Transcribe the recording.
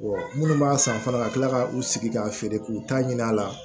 minnu b'a san fana ka tila ka u sigi k'a feere k'u ta ɲini a la